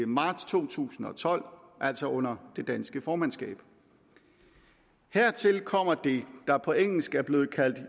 marts to tusind og tolv altså under det danske formandskab hertil kommer det der på engelsk er blevet kaldt